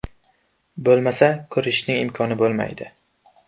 Bo‘lmasa, ko‘rishishning imkoni bo‘lmaydi.